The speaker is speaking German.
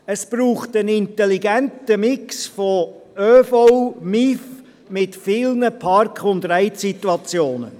Es braucht einen intelligenten Mix von ÖV, motorisiertem Individualverkehr (MIV), mit vielen Park-and-ride-Standorten.